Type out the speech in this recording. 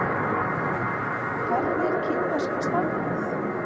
Hvernig er kínverska stafrófið?